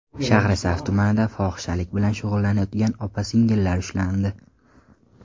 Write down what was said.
Shahrisabz tumanida fohishalik bilan shug‘ullanayotgan opa-singillar ushlandi.